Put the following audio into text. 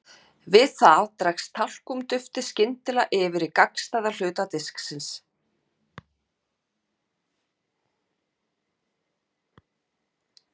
Við það dregst talkúm-duftið skyndilega yfir í gagnstæðan hluta disksins.